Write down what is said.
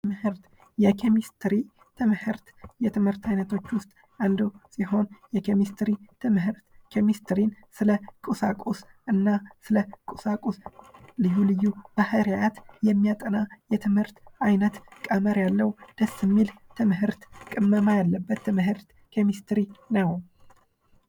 የኬሚስትሪ ትምህርት ከትምህርት አይነቶች ውስጥ አንዱ ሲሆን ኬሚስትሪ ስለ ቁሳቁስ እና ስለ ቁሳቁስ ኬሚስትሪ ስለ ቁሳቁስ ልዩ ልዩ ባህሪያት የሚያጠና የትምህርት አይነት ቀመር ያለው ደስ የሚል ትምህርት ቅመማ ያለበት ትምህርት ኬሚስትሪ ነው።